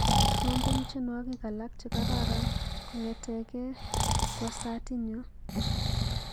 Trompen tyenwogik alak chekororon kong'eteke kwosatinyu.